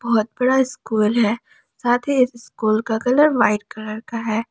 बहुत बड़ा स्कूल है साथ ही स्कूल का कलर वाइट कलर का है।